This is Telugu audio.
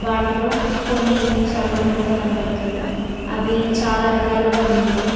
వాటిలో కొన్ని ఇనుము సామాను కూడా కనబడుతుంది అవి చాలా రకాలుగా ఉన్నాయి.